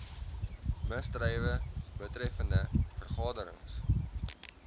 misdrywe betreffende vergaderings